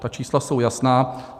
Ta čísla jsou jasná.